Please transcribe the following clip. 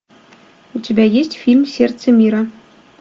у тебя есть фильм сердце мира